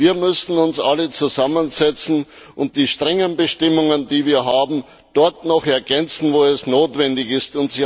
Wir müssen uns alle zusammensetzen und die strengen Bestimmungen, die wir haben, dort noch ergänzen, wo es notwendig ist.